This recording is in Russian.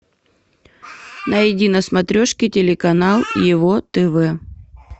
найди на смотрешке телеканал его тв